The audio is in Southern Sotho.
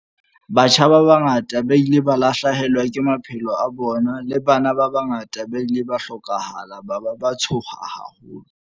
Batjha ba bangata ba ile ba lahlehelwa ke maphelo a bona, le bana ba bangata ba ile ba hlokofala ba ba ba tshoha haholo.